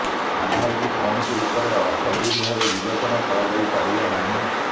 ଆଧାରକୁ କୌଣସି ରୂପରେ ଅର୍ଥ ବିଲ୍ ଭାବେ ବିବେଚନା କରାଯାଇ ପାରିବ ନାହିଁ